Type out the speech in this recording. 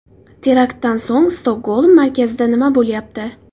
Teraktdan so‘ng Stokgolm markazida nima bo‘lyapti?.